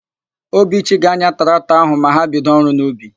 Obichi ga-anya traktọ áhụ̀ ma ha bido ọrụ n'ubi.